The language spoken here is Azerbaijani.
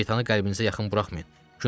Şeytanı qəlbinizə yaxın buraxmayın.